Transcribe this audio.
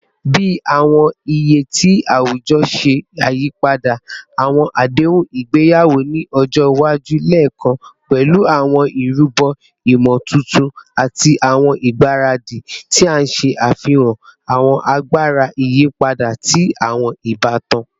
Bi awọn iye ti awujọ ṣe yipada, awọn adehun igbeyawo ni ọjọ iwaju le kan pẹlu awọn irubo imotuntun ati awọn igbaradi, ti n ṣe afihan awọn agbara iyipada ti awọn ibatan.